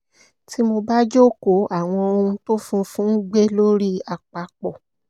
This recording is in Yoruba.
tí mo bá jókòó àwọn ohun tó funfun ń gbé lórí àpapọ̀